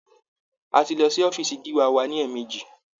A ti lọ sí ọ́fíísì gíwá wa ní èèmejì.